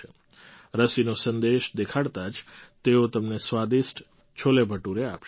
રસીનો સંદેશ દેખાડતા જ તેઓ તમને સ્વાદિષ્ટ છોલેભટુરે આપશે